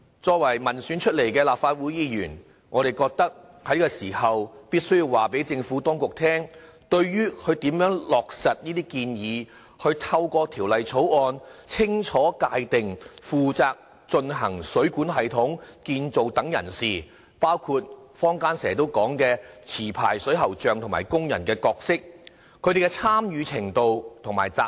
作為民選出來的立法會議員，我們覺得在這個時候必須告知政府當局，對政府如何落實這些建議，透過《條例草案》清楚界定負責進行水管系統建造等人士，包括坊間經常說的持牌水喉匠及工人的角色、參與程度和責任。